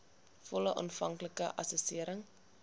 volle aanvanklike assessering